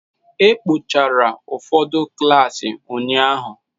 E kpochara ụfọdụ klaasị ụnyahụ.